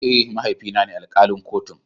Eh, mahaifi na ne alkalin kotun.